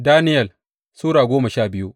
Daniyel Sura goma sha biyu